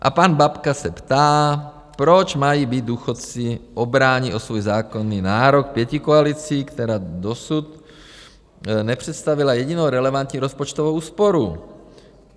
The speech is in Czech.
A pan Babka se ptá, proč mají být důchodci obráni o svůj zákonný nárok pětikoalicí, která dosud nepředstavila jedinou relevantní rozpočtovou úsporu.